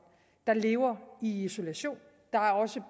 der lever i isolation der er også